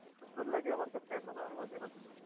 এতো সুন্দর লাগে আমার কাছে এখনও আমি মাঝে মাঝে,